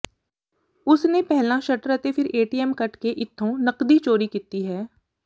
ਉਸ ਨੇ ਪਹਿਲਾਂ ਸ਼ਟਰ ਅਤੇ ਫਿਰ ਏਟੀਐਮ ਕੱਟ ਕੇ ਇੱਥੋਂ ਨਕਦੀ ਚੋਰੀ ਕੀਤੀ ਹੈ